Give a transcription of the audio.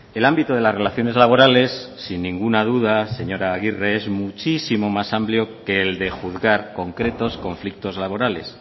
el ámbito de las relaciones laborales sin ninguna duda señora agirre es muchísimo más amplio que el de juzgar concretos conflictos laborales